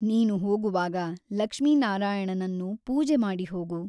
ನೀನು ಹೋಗುವಾಗ ಲಕ್ಷ್ಮೀನಾರಾಯಣನನ್ನು ಪೂಜೆಮಾಡಿ ಹೋಗು.